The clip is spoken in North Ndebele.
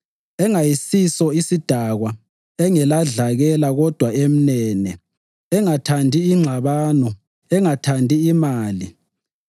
engayisiso sidakwa, engeladlakela kodwa emnene, engathandi ingxabano, engathandi imali.